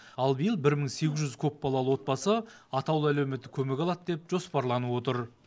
ал биыл бір мың сегіз жүз көпбалалы отбасы атаулы әлеуметтік көмек алады деп жоспарланып отыр